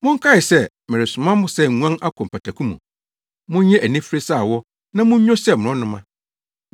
“Monkae sɛ meresoma mo sɛ nguan akɔ mpataku mu. Monyɛ anifere sɛ awɔ na munnwo sɛ mmorɔnoma.